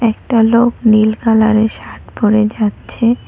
একটা লোক নীল কালারের শার্ট পরে যাচ্ছে।